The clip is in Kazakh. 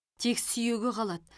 тек сүйегі қалады